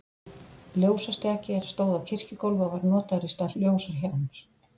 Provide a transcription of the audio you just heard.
Ljósastjaki, er stóð á kirkjugólfi og var notaður í stað ljósahjálms.